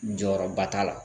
Jɔyɔrɔba t'a la